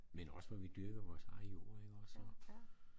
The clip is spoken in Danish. Men også hvor vi dyrkede vores eget jord ik også så